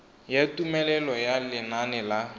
ya tumelelo ya lenane la